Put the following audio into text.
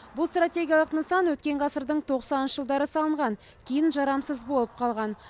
бұл стратегиялық нысан өткен ғасырдың тоқсаныншы жылдары салынған кейін жарамсыз болып қалған